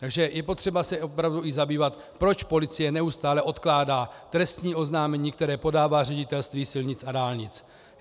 Takže je potřeba se opravdu i zabývat, proč policie neustále odkládá trestní oznámení, které podává Ředitelství silnic a dálnic.